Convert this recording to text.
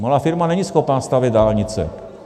Malá firma není schopna stavět dálnice.